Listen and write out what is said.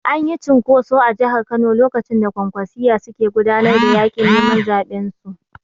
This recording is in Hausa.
Anyi cunkoso a Jahar Kano lokacin da Kwankwasiyya suke gudanar da yaƙin neman zaɓen su